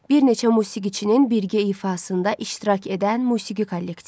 Bir neçə musiqiçinin birgə ifasında iştirak edən musiqi kollektivi.